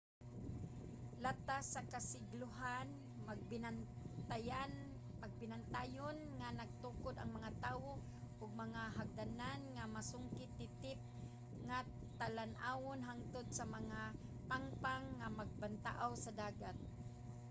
latas sa kasiglohan mabinantayon nga nagtukod ang mga tawo og mga hagdanan sa masungit titip nga talan-awon hantod sa mga pangpang nga bantaaw sa dagat